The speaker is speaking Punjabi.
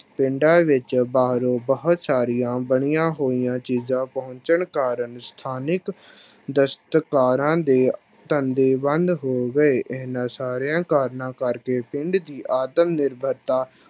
ਪਿੰਡਾਂ ਵਿੱਚ ਬਾਹਰੋਂ ਬਹੁਤ ਸਾਰੀਆਂ ਬਣੀਆਂ ਹੋਈਆਂ ਚੀਜ਼ਾਂ ਪਹੁੰਚਣ ਕਾਰਨ ਸਥਾਨਿਕ ਦਸਤਕਾਰਾਂ ਦੇ ਧੰਦੇ ਬੰਦ ਹੋ ਗਏ, ਇਹਨਾਂਂ ਸਾਰਿਆਂ ਕਾਰਨਾਂ ਕਰਕੇ ਪਿੰਡ ਦੀ ਆਤਮ ਨਿਰਭਰਤਾ